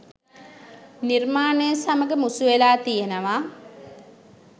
නිර්මාණය සමග මුසු වෙලා තියෙනව